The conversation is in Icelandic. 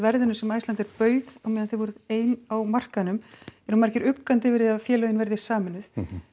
verðinu sem Icelandair bauð á meðan þið voruð ein á markaðnum eru margir uggandi yfir því að félögin verði sameinuð